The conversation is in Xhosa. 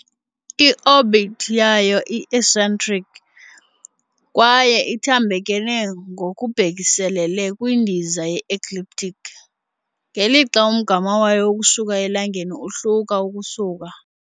I-orbit yayo i -eccentric kwaye ithambekele ngokubhekiselele kwindiza ye-ecliptic, ngelixa umgama wayo ukusuka eLangeni uhluka ukusuka .